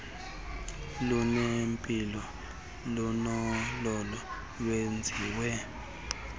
lunempilo kunolo lwenziweyo